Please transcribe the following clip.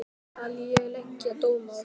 Ekki skal ég leggja dóm á það.